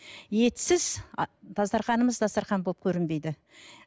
етсіз а дастарханымыз дастархан болып көрінбейді